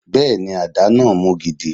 Bẹẹni, adá náà mú gidi.